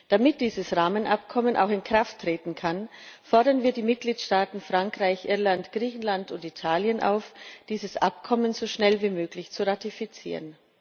Damit dieses Rahmenabkommen auch in Kraft treten kann, fordern wir die Mitgliedstaaten Frankreich, Irland, Griechenland und Italien auf, dieses Abkommen so schnell wie möglich zu ratifizieren.